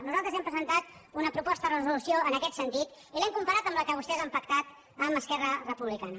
nosaltres hem presentat una proposta de resolució en aquest sentit i l’hem comparada amb la que vostès han pactat amb esquerra republicana